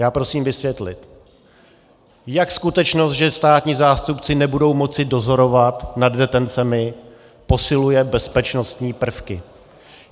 Já prosím vysvětlit, jak skutečnost, že státní zástupci nebudou moci dozorovat nad detencemi, posiluje bezpečnostní prvky.